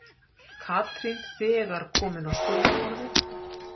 Katrín þegar komin á skurðarborðið.